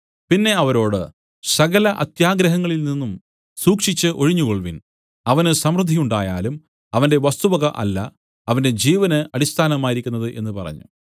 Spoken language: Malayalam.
പിന്നെ അവരോട് സകല അത്യാഗ്രഹങ്ങളിൽ നിന്നും സൂക്ഷിച്ച് ഒഴിഞ്ഞുകൊൾവിൻ അവന് സമൃദ്ധി ഉണ്ടായാലും അവന്റെ വസ്തുവക അല്ല അവന്റെ ജീവന് അടിസ്ഥാനമായിരിക്കുന്നത് എന്നു പറഞ്ഞു